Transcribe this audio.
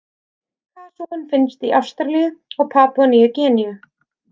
Kasúinn finnst í Ástralíu og Papúa-Nýju-Gíneu.